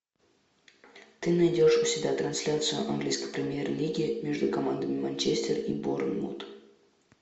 ты найдешь у себя трансляцию английской премьер лиги между командами манчестер и борнмут